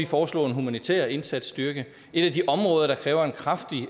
foreslået en humanitær indsatsstyrke et af de områder der kræver en kraftig